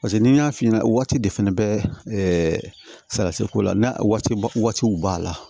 Paseke n'i y'a f'i ɲɛna waati de fɛnɛ bɛ ɛɛ salati ko la waatiw b'a la